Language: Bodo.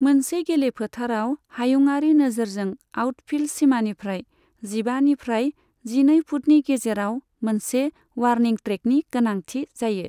मोनसे गेलेफोथारआव हायुङारि नोजोरजों आउटफील्ड सिमानिफ्राय जिबानिफ्राय जिनै फुटनि गेजेराव मोनसे वार्निं ट्रेकनि गोनांथि जायो।